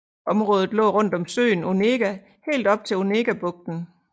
Området lå rundt om søen Onega helt op til Onegabugten